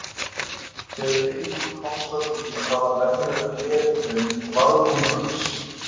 Þegar Eyrún komst að því að það var venjulegt gler í þeim varð hún hugsi.